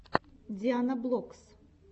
дианаблокс